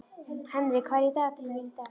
Henrik, hvað er í dagatalinu mínu í dag?